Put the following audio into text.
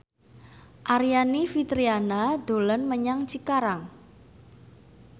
Aryani Fitriana dolan menyang Cikarang